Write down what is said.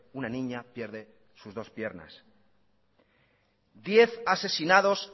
una niña pierde sus dos piernas diez asesinados